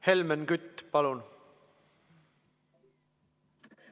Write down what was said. Helmen Kütt, palun!